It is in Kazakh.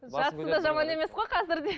жатысы да жаман емес қой қазір де